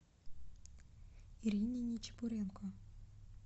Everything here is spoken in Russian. ирине нечепуренко